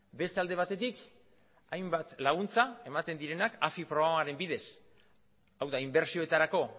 beste alde batetik hainbat laguntza ematen direnak afi programaren bidez hau da inbertsioetarako